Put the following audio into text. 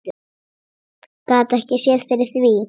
Get ekki séð fyrir því.